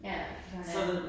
Ja ja, det noget andet